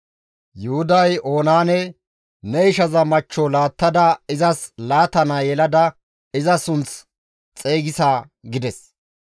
Yuhuday Oonaane, «Ne ishaza machcho laattada izas laata naa yelada iza sunth xeygisa» gides.